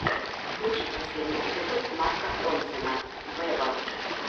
включи последний эпизод марка ронсона вево